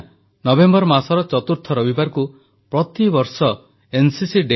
• board ପରୀକ୍ଷା ପୂର୍ବରୁ town hall କାର୍ଯ୍ୟକ୍ରମରେ ଅଂଶଗ୍ରହଣ ପାଇଁ ଛାତ୍ରଛାତ୍ରୀଙ୍କୁ ନିମନ୍ତ୍ରଣ